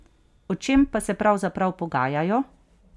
O čem pa se pravzaprav pogajajo?